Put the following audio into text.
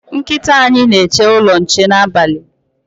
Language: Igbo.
Nkịta anyị na-eche ụlọ nche n'abalị